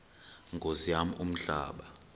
nkosi yam umhlaba